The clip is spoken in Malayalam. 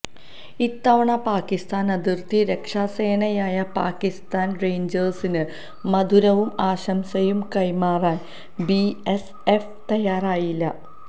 ഇത്തവണ പാകിസ്ഥാന് അതിര്ത്തി രക്ഷാസേനയായ പാകിസ്ഥാന് റേഞ്ചേഴ്സിന് മധുരവും ആശംസയും കൈകമാറാന് ബിഎസ്എഫ് തയ്യാറായില്ല